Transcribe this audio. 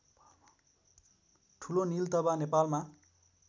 ठुलो नीलतभा नेपालमा